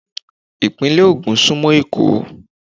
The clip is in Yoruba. Ìpínlè Ògùn súnmọ́ Èkó.